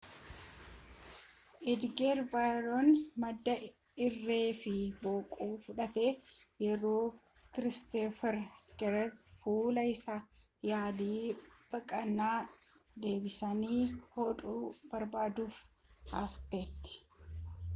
edgar veguyeellaan madoo irree fi boquu fudhate yeroo kristoffer schneider fuula isaaf yaalii baqaqsanii deebisanii hodhuu barbaaduuf hafetti